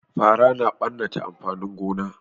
Fara na ɓanna amfanin gona